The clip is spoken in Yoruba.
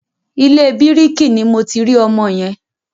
Ilé bíkìrì ni mo ti rí ọmọ yẹn.